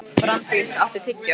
Branddís, áttu tyggjó?